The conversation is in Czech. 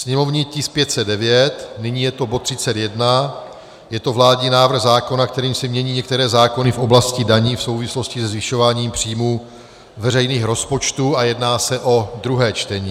sněmovní tisk 509, nyní je to bod 31, je to vládní návrh zákona, kterým se mění některé zákony v oblasti daní v souvislosti se zvyšováním příjmů veřejných rozpočtů, a jedná se o druhé čtení;